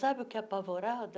Sabe o que é apavorada?